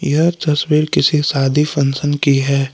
यह तस्वीर किसी शादी फंक्शन की है।